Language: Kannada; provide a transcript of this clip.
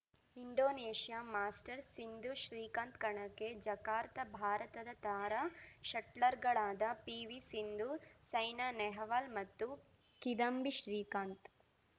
ಇಂಡೋನೇಷ್ಯಾ ಮಾಸ್ಟರ್ಸ್‌ ಸಿಂಧು ಶ್ರೀಕಾಂತ್‌ ಕಣಕ್ಕೆ ಜಕಾರ್ತ ಭಾರತದ ತಾರಾ ಶಟ್ಲರ್‌ಗಳಾದ ಪಿವಿಸಿಂಧು ಸೈನಾ ನೆಹ್ವಾಲ್‌ ಮತ್ತು ಕಿದಂಬಿ ಶ್ರೀಕಾಂತ್‌